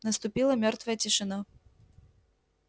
наступила мёртвая тишина